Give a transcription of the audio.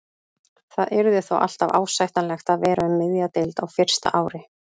Það yrði þó alltaf ásættanlegt að vera um miðja deild á fyrsta ári.